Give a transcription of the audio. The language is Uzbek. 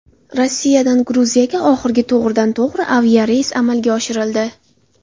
Rossiyadan Gruziyaga oxirgi to‘g‘ridan to‘g‘ri aviareys amalga oshirildi.